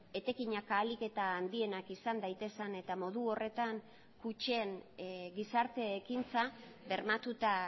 etekinak ahalik eta handienak izan daitezen eta modu horretan kutxen gizarte ekintza bermatuta